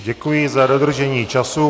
Děkuji za dodržení času.